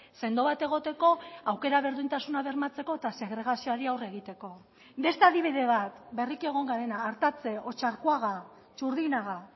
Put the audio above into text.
sendo bat egoteko aukera berdintasuna bermatzeko eta segregazioari aurre egiteko beste adibide bat berriki egon garena artatse otxarkoaga txurdinaga